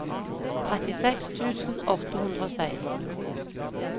trettiseks tusen åtte hundre og seksten